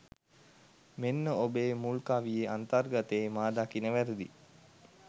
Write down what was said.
මෙන්න ඔබේ මුල් කවියේ අන්තර්ගතයේ මා දකින වැරදි .